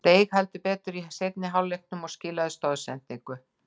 Steig heldur betur upp í seinni hálfleiknum og skilaði stoðsendingu.